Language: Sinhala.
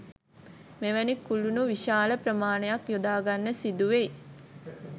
මෙවැනි කුළුණු විශාල ප්‍රමාණයක් යොදාගන්න සිදුවෙයි